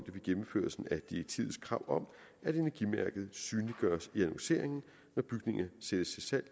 vi gennemførelsen af direktivets krav om at energimærket synliggøres i annonceringen når bygninger sættes til salg